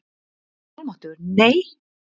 Guð minn almáttugur, nei!